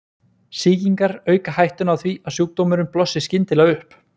sýkingar auka hættuna á því að sjúkdómurinn blossi skyndilega upp